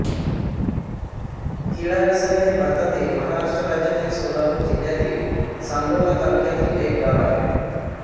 किडाबिसारी हे भारतातील महाराष्ट्र राज्यातील सोलापूर जिल्ह्यातील सांगोला तालुक्यातील एक गाव आहे